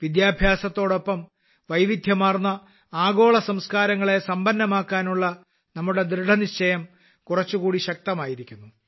വിദ്യാഭ്യാസത്തോടൊപ്പം വൈവിധ്യമാർന്ന ആഗോള സംസ്കാരങ്ങളെ സമ്പന്നമാക്കാനുള്ള നമ്മുടെ ദൃഢനിശ്ചയം കുറച്ചുകൂടി ശക്തമായിരിക്കുന്നു